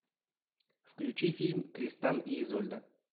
включи фильм тристан и изольда